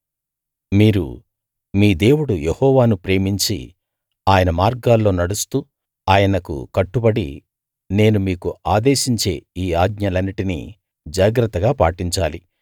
మీరు మీ దేవుడు యెహోవాను ప్రేమించి ఆయన మార్గాల్లో నడుస్తూ ఆయనకు కట్టుబడి నేను మీకు ఆదేశించే ఈ ఆజ్ఞలన్నిటినీ జాగ్రత్తగా పాటించాలి